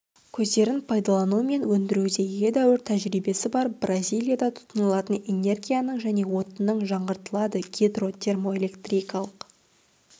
көздерін пайдалану мен өндіруде едәуір тәжірибесі бар бразилияда тұтынылатын энергияның және отынның жаңғыртылады гидро термоэлектрикалық